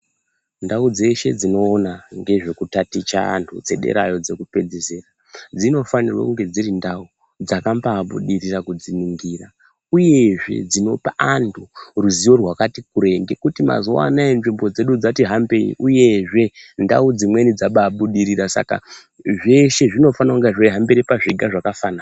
Ndau dzeshe dzinoona nezvekutatiche antu dzederayo dzekupedzisira dzinofanirwe kunge dziri ndau dzakambaabudirira kudziningira. Uyezve dzinopa antu ruziwo rwakati kurei ngekuti mazuwa anaya nzvimbo dzedu dzatihambei, uyezve ndau dzimweni dzabaabudirira saka zveshe zvinofana kunga zveihambire pazviga zvakafanana.